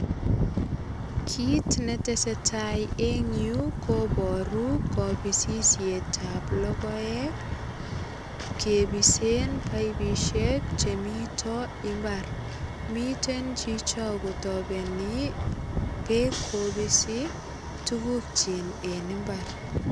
Kit ne tesetai eng yu kobaru kapisisietab logoek, kepisen paipisiek che mito imbar. Miten chicho kotapeni beek kopisi tugukchin en imbar.